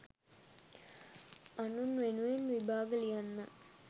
අනුන් වෙනුවෙන් විභාග ලියන්නත්